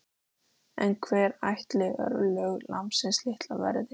En hver ætli örlög lambsins litla verði?